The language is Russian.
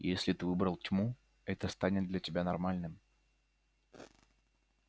если ты выбрал тьму это станет для тебя нормальным